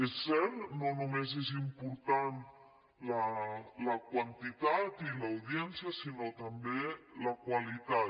és cert no només són importants la quantitat i l’audiència sinó també la qualitat